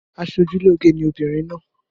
Aṣeojúlóge ni obìnrin náà.